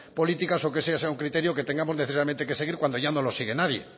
políticas o que ese sea un criterio que tengamos necesariamente que seguir cuando ya no lo sigue nadie